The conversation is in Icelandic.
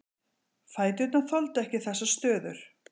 Fæturnir þoldu ekki þessar stöður.